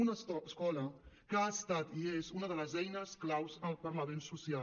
una escola que ha estat i és una de les eines claus per a l’avenç social